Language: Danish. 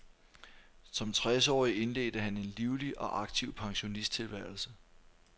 Som tres årig indledte han en livlig og aktiv pensionisttilværelse.